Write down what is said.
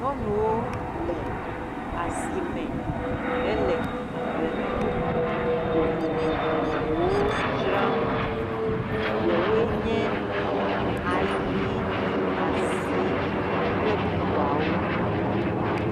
Nyɔnuwo le asime hele agblemenuku vovovowo dzram, ɖewoe nye ayi, azi kple bubuawo.